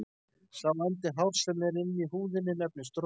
Sá endi hárs sem er inni í húðinni nefnist rót.